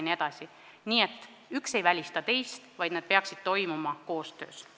Nii et üks ei välista teist, need asjad peaksid toimuma koostöös.